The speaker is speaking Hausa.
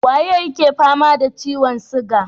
Waye yake fama da ciyon siga?